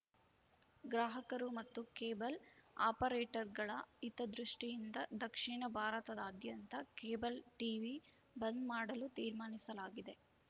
ಗ್ರಾಹಕರು ಮತ್ತು ಕೇಬಲ್‌ ಆಪರೇಟರ್‌ಗಳ ಹಿತದೃಷ್ಟಿಯಿಂದ ದಕ್ಷಿಣ ಭಾರತದಾದ್ಯಂತ ಕೇಬಲ್‌ ಟೀವಿ ಬಂದ್‌ ಮಾಡಲು ತೀರ್ಮಾನಿಸಲಾಗಿದೆ